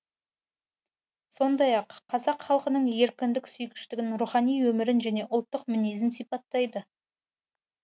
сондай ақ қазақ халқының еркіндік сүйгіштігін рухани өмірін және ұлттық мінезін сипаттайды